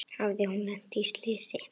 Hafði hún lent í slysi?